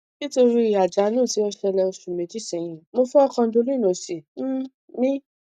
nítorí àjálù tí ó ṣẹlẹ oṣù méjì sẹyìn mo fọ condyle òsì um mi